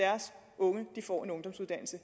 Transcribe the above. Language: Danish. unge vi får en ungdomsuddannelse